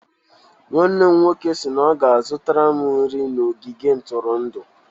Nwanne m nwoke si na ọ ga-azụtara m nri na ogige ntụrụndụ.